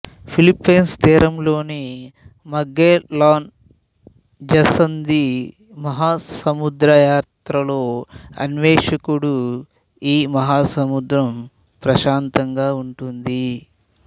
Philippine తీరంలోని Magellan జసంధి సముద్రయాత్రలో అణ్వేషకుడు ఈ మహాసముద్రం ప్రశాంతంగా ఉంటుంది